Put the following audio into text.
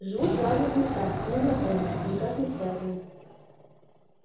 живут в разных местах не знакомы никак не связаны